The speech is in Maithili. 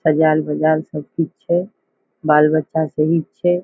अजार बाजार सब ठीक छे। बाल बच्चा सभी छे।